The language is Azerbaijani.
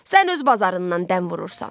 Sən öz bazarından dəm vurursan.